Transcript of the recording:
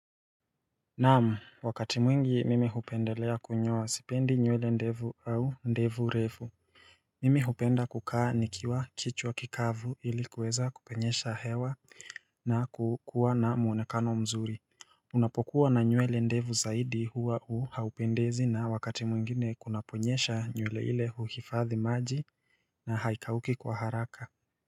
Naam wakati mwingi mimi hupendelea kunyoa sipendi nywele ndevu au ndevu refu Mimi hupenda kukaa nikiwa kichwa kikavu ilikuweza kupenyesha hewa na kukua na muonekano mzuri Unapokuwa na nyuele ndevu zaidi huwa u haupendezi na wakati mwingine kunaponyesha nywele ile huhifadhi maji na haikauki kwa haraka Ha ha.